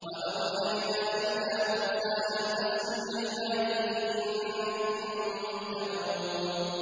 ۞ وَأَوْحَيْنَا إِلَىٰ مُوسَىٰ أَنْ أَسْرِ بِعِبَادِي إِنَّكُم مُّتَّبَعُونَ